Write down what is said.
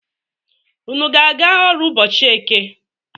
Unu ga-aga ọrụ ụbọchi Eke?